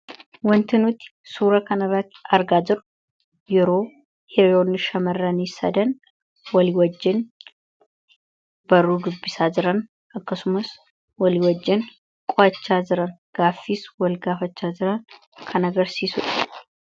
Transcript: Wanti nuuti suura kana argaa jirru yeroo yeroo shamarranii sadan wali wajjin baruu dubbisaa jiran akkasumas walii wajjin qo'achaa jiran gaaffiis wal gaafachaa jiran kan agarsiisudha.